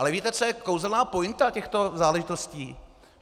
Ale víte, co je kouzelná pointa těchto záležitostí?